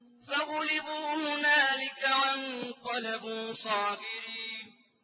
فَغُلِبُوا هُنَالِكَ وَانقَلَبُوا صَاغِرِينَ